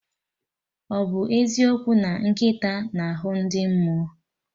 Ọ bụ eziokwu na nkịta na-ahụ ndị mmụọ